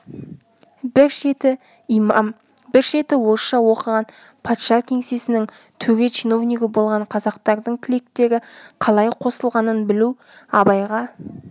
бір шеті имам бір шеті орысша оқыған патша кеңсесінің төре чиновнигі болған қазақтардың тілектері қалай қосылғанын білу абайға